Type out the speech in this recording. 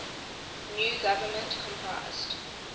new government comprised